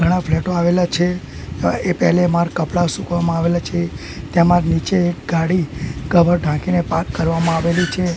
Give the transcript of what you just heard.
ઘણા ફ્લેટો આવેલા છે અ એ પેલે માડ કપડા સૂકવવામાં આવેલા છે તેમા નીચે ગાડી કવર ઢાંકીને પાર્ક કરવામાં આવેલી છે.